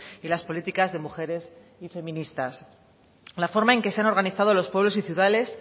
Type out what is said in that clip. y las políticas de mujeres y feministas la forma en que se han organizado los pueblos